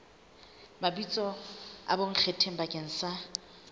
mabitso a bonkgetheng bakeng sa